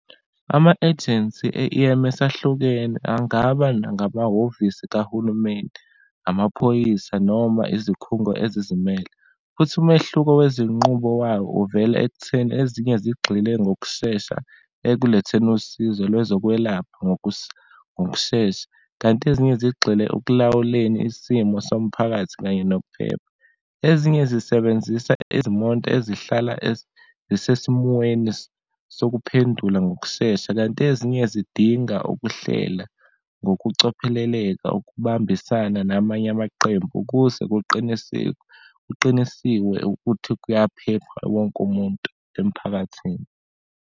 Ama-agency e-E_M_S ahlukene, angaba nangabahhovisi kahulumeni, amaphoyisa noma izikhungo ezizimele. Futhi umehluko wezinqubo wayo, uvela ekutheni ezinye zigxile ngokushesha ekuletheni usizo lwezokwelapha ngokushesha, kanti ezinye zigxile ekulawuleni isimo somphakathi, kanye nokuphepha. Ezinye zisebenzisa izimonto ezihlala zisesimweni sokuphendula ngokushesha, kanti ezinye zidinga ukuhlela ngokucopheleleka ukubambisana namanye amaqembu ukuze kuqinisikwe, kuqinisiwe ukuthi kuyaphepha wonke umuntu emphakathini.